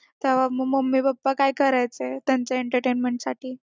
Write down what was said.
तेव्हा mummy papa काय करायचे त्यांच्या entertainment साठी